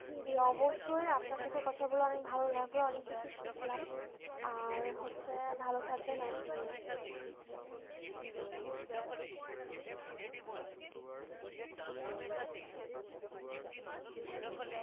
জি জি অবশ্যই আপনার সাথেও কথা বলে অনেক ভালো লাগলো অনেক কিছু শিখলাম আর হচ্ছে ভালো থাকবেন আপনিও